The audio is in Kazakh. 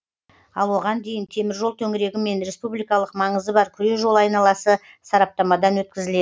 ал оған дейін теміржол төңірегі мен республикалық маңызы бар күре жол айналасы сараптамадан өткізіледі